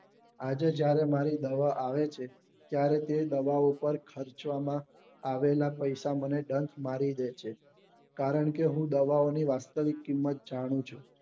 આજે જયારે મારી દવા આવે છે ત્યારે તે દવાઓ ઉપર ખર્ચવામાં આવેલા પૈસા મને ડંક મારી દે છે કારણ કે હું દવા ઓ ની વાસ્તવિક કિંમત જાણું છું